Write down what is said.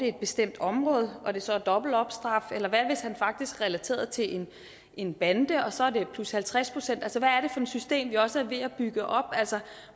et bestemt område og det så er dobbelt op straf eller hvad hvis han faktisk er relateret til en bande og det så er plus halvtreds procent altså er system vi også er ved at bygge op